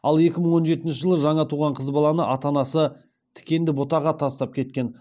ал екі мың он жетінші жылы жаңа туған қыз баланы ата анасы тікенді бұтаға тастап кеткен